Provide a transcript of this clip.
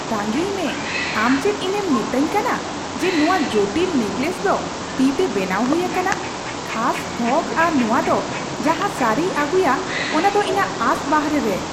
ᱛᱟᱺᱜᱤᱭ ᱢᱮ, ᱟᱢ ᱪᱮᱫ ᱤᱧᱮᱢ ᱢᱮᱛᱟᱧ ᱠᱟᱱᱟ ᱡᱮ ᱱᱚᱶᱟ ᱡᱚᱴᱤᱞ ᱱᱮᱠᱞᱮᱥ ᱫᱚ ᱛᱤᱼᱛᱮ ᱵᱮᱱᱟᱣ ᱦᱩᱭ ᱟᱠᱟᱱᱟ ? ᱠᱷᱟᱥ ᱛᱷᱚᱠ ᱟᱨ ᱱᱚᱶᱟ ᱫᱚ ᱡᱟᱦᱟᱸ ᱥᱟᱹᱨᱤᱭ ᱟᱹᱜᱩᱭᱟ ᱚᱱᱟᱫᱚ ᱤᱧᱟᱹᱜ ᱟᱸᱥ ᱵᱟᱦᱨᱮ ᱨᱮ ᱾